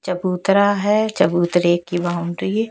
चबूतरा है चबूतरे की बाउंड्री --